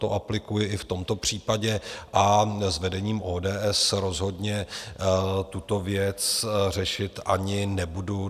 To aplikuji i v tomto případě a s vedením ODS rozhodně tuto věc řešit ani nebudu.